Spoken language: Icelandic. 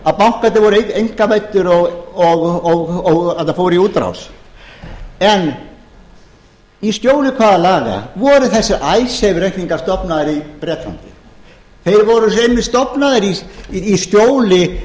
að bankarnir voru einkavæddir og að þeir fóru í útrás í skjóli hvaða laga voru þessir icesave reikningar stofnaðir í bretlandi þeir voru einmitt stofnaðir í skjóli